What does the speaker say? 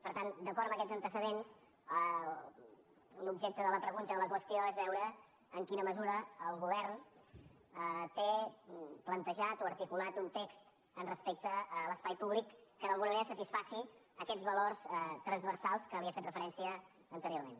per tant d’acord amb aquests antecedents l’objecte de la pregunta i de la qüestió és veure en quina mesura el govern té plantejat o articulat un text respecte a l’espai públic que d’alguna manera satisfaci aquests valors transversals a què li he fet referència anteriorment